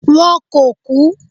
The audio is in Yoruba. wọn ko ku